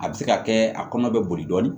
A bɛ se ka kɛ a kɔnɔ bɛ boli dɔɔnin